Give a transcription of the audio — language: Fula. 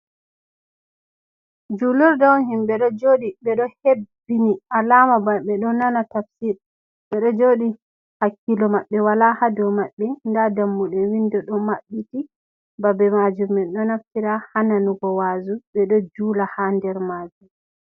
"Julurde" on himbe ɗo jooɗi ɓeɗo hebbini alama bana ɓeɗo nana tabsir, ɓeɗo jooɗi hakkilo maɓɓe wala hatotton ton maɓɓe nda dammuɗe windo ɗo maɓɓiti babe majum man ɗo naftira ha nanugo wa'azu, ɓeɗo jula ha nder majum.